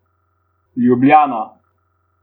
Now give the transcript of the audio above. Ljubljana.